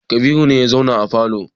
Kabiru ne ya zauna a falo.